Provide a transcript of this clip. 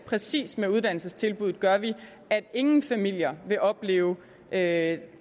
præcis med uddannelsestilbuddet gør vi at ingen familier vil opleve at